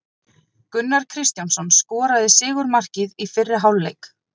Gunnar Kristjánsson skoraði sigurmarkið í fyrri hálfleik.